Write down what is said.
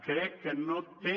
crec que no té